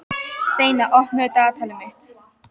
Steina, opnaðu dagatalið mitt.